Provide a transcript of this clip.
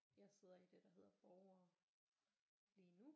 Jeg sidder i det der hedder borgere lige nu